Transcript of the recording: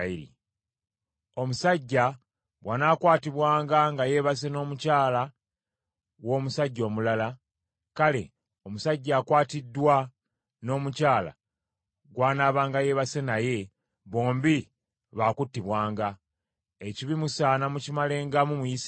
Omusajja bw’anaakwatibwanga nga yeebase n’omukyala w’omusajja omulala, kale, omusajja akwatiddwa n’omukyala gw’anaabanga yeebase naye, bombi baakuttibwanga. Ekibi musaana mukimalengamu mu Isirayiri.